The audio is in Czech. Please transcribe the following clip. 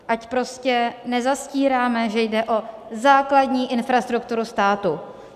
Ať prostě nezastíráme, že jde o základní infrastrukturu státu.